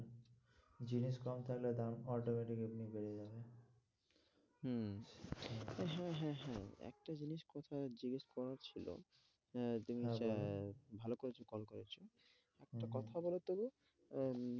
জিনিস কম থাকলে দাম automatic এমনি বেড়ে যাবে হম হ্যাঁ, হ্যাঁ, হ্যাঁ একটা জিনিস কথা জিজ্ঞেস করার ছিল, আহ ভালো করেছো call করেছো একটা কথা বলো তো গো আহ